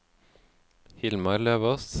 Hilmar Løvås